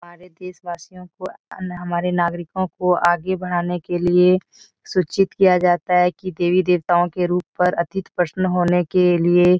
हमारे देशवासियों को अन्य हमारे नागरिकों को आगे बढ़ाने के लिए सूचित किया जाता है की देवी-देवताओं के रूप पर अतीत प्रश्न होने के लिए --